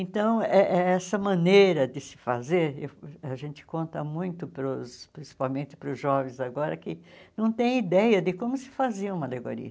Então, eh essa maneira de se fazer, a gente conta muito, para os principalmente para os jovens agora, que não têm ideia de como se fazia uma alegoria.